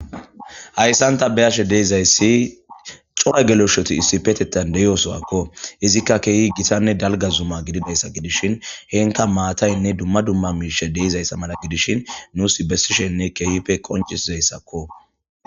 Haysan ta beyashe dizaysi cora geleshoti issipetethan de'iya sohuwakoizika gitanne dalga zuma gididaysa gidishin henika maatatinne duma duma de'izaysa mala gidishin nusi besishenne kehippe bessizaysako.